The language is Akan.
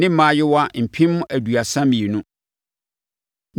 ne mmaayewa mpem aduasa mmienu (32,000).